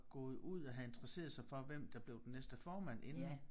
Gået ud og havde interesseret sig for hvem der blev den næste formand inden